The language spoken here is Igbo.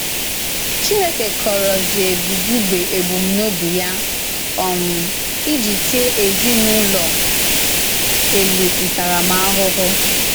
Chìnèkè kọ̀ròzìè Bùzugbè ebùmnòbì Ya um íjì tìè èzinùlọ Èlì ntàràmàhụhụ.